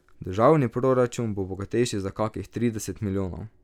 Državni proračun bo bogatejši za kakih trideset milijonov.